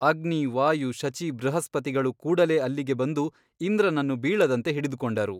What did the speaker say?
ಅಗ್ನಿ ವಾಯು ಶಚೀ ಬೃಹಸ್ಪತಿಗಳು ಕೂಡಲೇ ಅಲ್ಲಿಗೆ ಬಂದು ಇಂದ್ರನನ್ನು ಬೀಳದಂತೆ ಹಿಡಿದುಕೊಂಡರು.